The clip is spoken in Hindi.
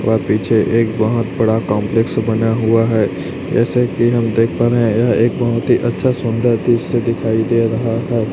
पर पीछे एक बहोत बड़ा कॉम्प्लेक्स बना हुआ है जैसे कि हम देख पा रहे हैं यह एक बहुत ही अच्छा सुंदर दृश्य दिखाई दे रहा है।